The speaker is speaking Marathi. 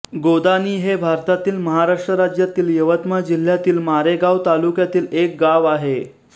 गोदाणी हे भारतातील महाराष्ट्र राज्यातील यवतमाळ जिल्ह्यातील मारेगांव तालुक्यातील एक गाव आहे